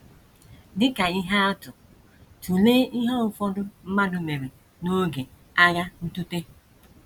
Dị ka ihe atụ, tụlee ihe ụfọdụ mmadụ mere n’oge Agha Ntụte.